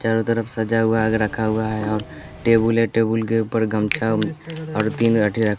चारों तरफ सजा हुआ आग रखा हुआ है और टेबुल है टेबुल के ऊपर गमछा और तीन--